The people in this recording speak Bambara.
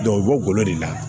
u bɛ bɔ golo de la